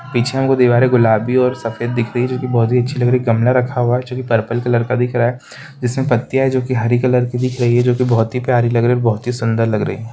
पीछे हमको दीवारे गुलाबी और सफ़ेद दिख रही है जो कि बहुत ही अच्छी लग रही एक गमला रखा हुआ है जो कि पर्पल कलर का दिख रहा है जिसमें पत्तियां है जो कि हरी कलर की दिख रही है जो कि बहुत ही प्यारी लग रही और बहुत ही सुंदर लग रही है।